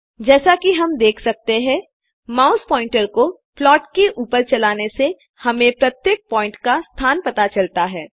जैसा की हम देख सकते हैं माउस पॉइंटर को प्लॉट के ऊपर चलाने से हमें प्रत्येक पॉइंट का स्थान पता चलता है